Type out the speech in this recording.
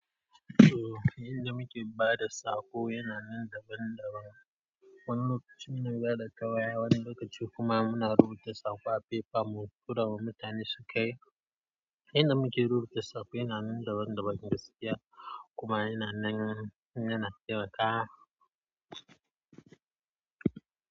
Toh yanda muke bada saƙo, yana nan daga round about wani lokaci mu bada ta waya wani lokacin kuma muna rubuta saƙo a paper mu turawa mutane sukai inda muke rubuta saƙo yana nan daban-daban gaskiya kuma yana nan, yana nan ko da.